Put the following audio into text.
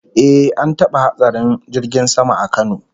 Eh, an taba hatsarin jirgin sama a Kano